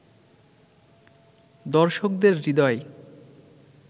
দর্শকদের হৃদয়